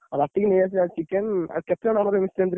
ରାତିକି ନେଇ ଆସିଆ chicken ଆଉ କେତେ ଜଣ ।